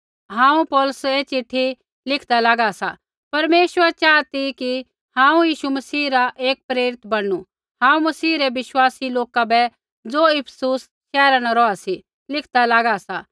हांऊँ पौलुसा ऐ चिट्ठी लिखदा लागा सा परमेश्वर चाहा ती कि हांऊँ मसीह यीशु रा एक प्रेरित बणनू हांऊँ मसीह रै विश्वासी लोका बै ज़ो इफिसुस शैहरा न रौहा सी लिखदा लागा सा